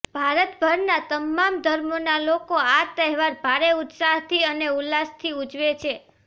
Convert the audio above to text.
ભારતભરના તમામ ધર્મોના લોકો આ તહેવાર ભારે ઉત્સાહથી અને ઉલ્લાસથી ઉજવે છે